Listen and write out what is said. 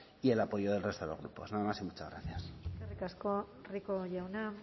y el apoyo del resto de los grupos nada más y muchas gracias eskerrik asko rico jauna